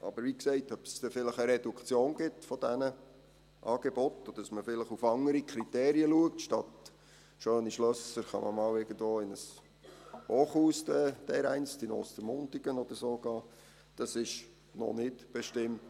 Aber, wie gesagt, ob es vielleicht eine Reduktion dieser Angebote gibt, und ob man vielleicht auf andere Kriterien achtet – statt in schöne Schlösser kann man dereinst in ein Hochhaus in Ostermundigen oder so gehen –, ist noch nicht bestimmt.